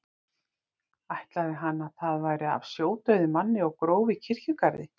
Ætlaði hann að það væri af sjódauðum manni og gróf í kirkjugarði.